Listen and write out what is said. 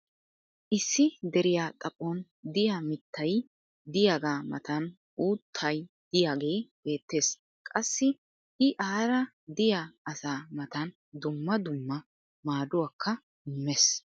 issi deriya xaphon diya mittay diyaagaa matan uutau diyaagee beetees. qassi i aara diya asaa matan dumma dumma maaduwakka immees.